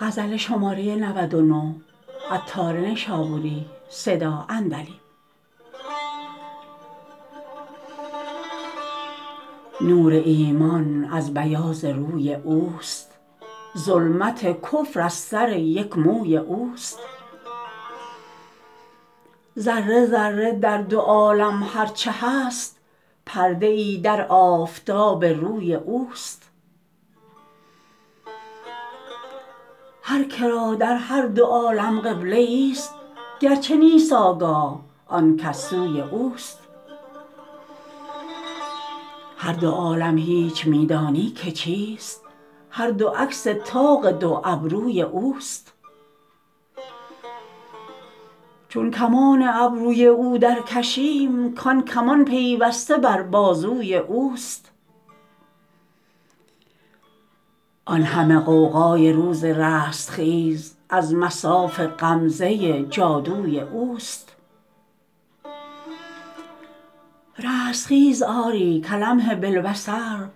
نور ایمان از بیاض روی اوست ظلمت کفر از سر یک موی اوست ذره ذره در دو عالم هر چه هست پرده ای در آفتاب روی اوست هر که را در هر دو عالم قبله ای است گرچه نیست آگاه آنکس سوی اوست هر دو عالم هیچ می دانی که چیست هر دو عکس طاق دو ابروی اوست چون کمان ابروی او درکشیم کان کمان پیوسته بر بازوی اوست آن همه غوغای روز رستخیز از مصاف غمزه جادوی اوست رستخیز آری کلمح باالبصر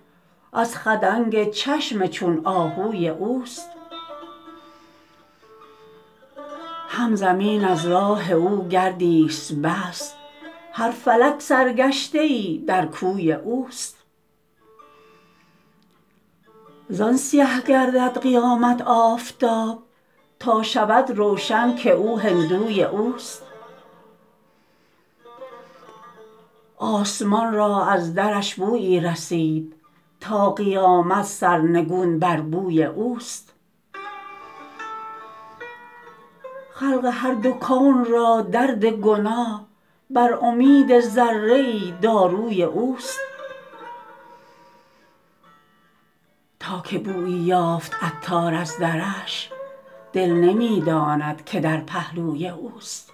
از خدنگ چشم چون آهوی اوست هم زمین از راه او گردی است بس هر فلک سرگشته ای در کوی اوست زان سیه گردد قیامت آفتاب تا شود روشن که او هندوی اوست آسمان را از درش بویی رسید تا قیامت سرنگون بر بوی اوست خلق هر دو کون را درد گناه بر امید ذره ای داروی اوست تا که بویی یافت عطار از درش دل نمی داند که در پهلوی اوست